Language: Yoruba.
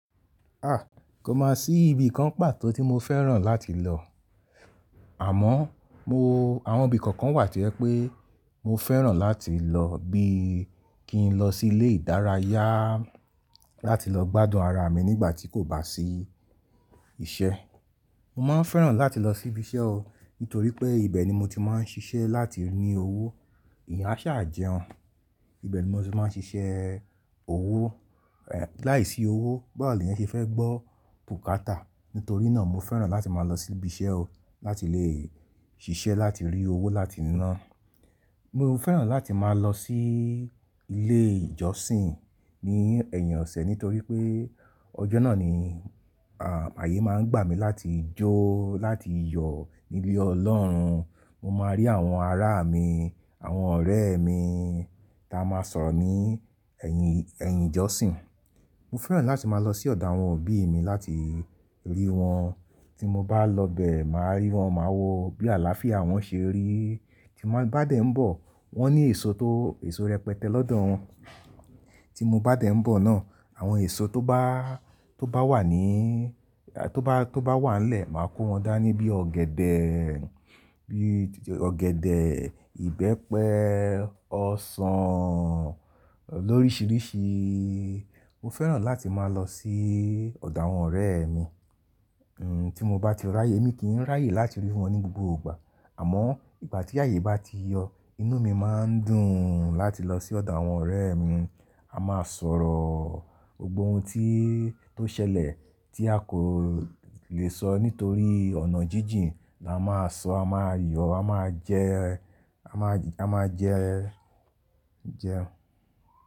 A! Kò máa sí ibi kan pàtó tí mo fẹ́ràn láti lọ. Àmọ́ mo, àwọn ibi kọ̀ọ̀kan wà tí ẹ̀ pé mo fẹ́ràn láti lọ bí i kí n lọ sí ilé ìdárayá láti lọ gbádùn ara mi nígbà tí kò bá sí iṣẹ́. Mo máa ń fẹ́ràn láti lọ sí ibi iṣẹ́ o nítorí pé ibẹ̀ ni mo ti máa ń ṣiṣẹ́ láti ri owó. Ìyàṣá jẹun, ibẹ̀ ni mo ti máa ń ṣiṣẹ́ owó, ẹ́ láìsí owó, bọ̀wọ̀lẹ́ yẹn ṣe fẹ́ gbọ́ bùkátà. Nítorí náà mo fẹ́ràn láti máa lọ sí ibi iṣẹ́ o láti lè ṣiṣẹ́ láti rí owó láti ná. Mo fẹ́ràn láti máa lọ sí ilé ìjọsìn ní ẹ̀yìn ọ̀sẹ̀ nítorí pé ọjọ́ náà ni, à, ààyè máa ń gbà mí láti jó láti yọ̀ ní ilé Ọlọ́run. Mo máa rí àwọn ará mi, àwọn ọ̀rẹ́ mi táa máa sọ̀rọ̀ ní ẹ̀yìn, ẹ̀yìn ìjọsìn. Mo fẹ́ràn láti máa lọ sí ọ̀dọ̀ àwọn òbí mi láti rí wọn. Tí mo bá lọ bẹ, màá rí wọn, màá wo bí àlàáfíà wọn ṣe rí. Tí mo bá dé ń bọ̀, wọ́n ní èso tó, èso rẹpẹtẹ lọ́dọ̀ wọn. Tí mo bá dé ń bọ̀ náà, àwọn èso tó bá, tó bá wà ní, tó bá, tó bá wà ńlẹ̀, màá kó wọn dání bí i ọ̀gẹ̀dẹ̀, bí i ọ̀gẹ̀dẹ̀, ìbẹ́pẹ, ọsàn lóríṣiríṣi. Mo fẹ́ràn láti máa lọ sí ọ̀dọ̀ àwọn ọ̀rẹ́ mi. N, tí mo bá ti ràyè, mi kì í ràyè láti rí wọn ní gbogbo ìgbà. Àmọ́ ìgbà tí ààyè bá ti yọ inú mi máa ń dùn láti lọ sí ọ̀dọ̀ àwọn ọ̀rẹ́ mi. A máa sọ̀rọ̀, gbogbo ohun tí, tó ṣẹlẹ̀ tí a kò lè sọ nítorí ọ̀nà jíjìn là máa sọ, a máa yọ̀, a máa jẹ, a máa, a máa jẹ, jẹun.